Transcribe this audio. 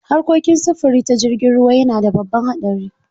Harkokin sufuri ta jirgin ruwa yana da babban haɗari.